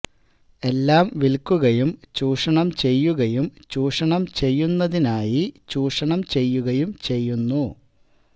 എല്ലാം വിൽക്കുകയും ചൂഷണം ചെയ്യുകയും ചൂഷണം ചെയ്യുന്നതിനായി ചൂഷണം ചെയ്യുകയും ചെയ്യുന്നു